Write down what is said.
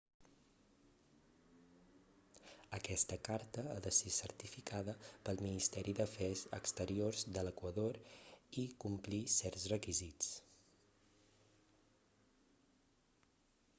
aquesta carta ha de ser certificada pel ministeri d'afers exteriors de l'equador i complir certs requisits